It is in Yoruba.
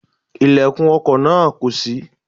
Ilẹ̀kùn ọkò náà kò ṣí